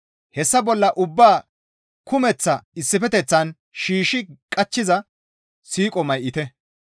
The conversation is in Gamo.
Hessa ubbaa bolla ubbaa kumeththa issifeteththan shiishshi qachchiza siiqo may7ite.